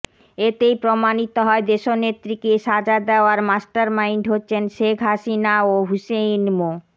এতেই প্রমাণিত হয় দেশনেত্রীকে সাজা দেওয়ার মাস্টারমাইন্ড হচ্ছেন শেখ হাসিনা ও হুসেইন মো